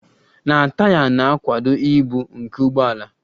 na taya na-akwado ibu nke ụgbọ ala